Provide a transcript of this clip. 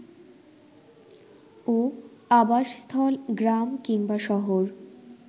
ও আবাসস্থল গ্রাম কিংবা শহর